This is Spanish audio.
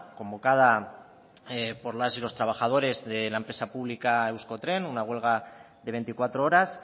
convocada por las y los trabajadores de la empresa pública euskotren una huelga de veinticuatro horas